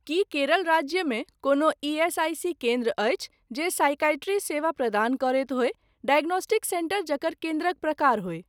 की केरल राज्यमे कोनो ईएसआईसी केन्द्र अछि जे साईकाइट्री सेवा प्रदान करैत होय डायग्नोस्टिक सेन्टर जकर केन्द्रक प्रकार होय।